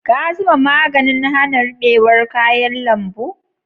Ka zuba maganin hana ruɓewar kayan lambu?